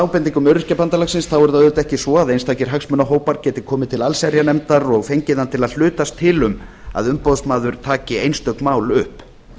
ábendingum öryrkjabandalagsins þá er það auðvitað ekki svo að einstakir hagsmunahópar geti komið til allsherjarnefndar og fengið hana til að hlutast til um að umboðsmaður taki einstök mál upp